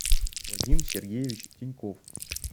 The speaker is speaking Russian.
вадим сергеевич теньков